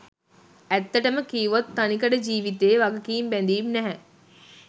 ඇත්තටම කීවොත් තනිකඩ ජීවිතයේ වගකීම් බැඳීම් නැහැ.